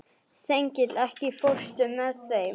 Þengill, ekki fórstu með þeim?